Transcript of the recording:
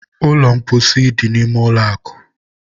ụlọ mposi dị n'ime ụlọ akụ